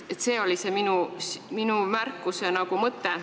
See oli minu märkuse mõte.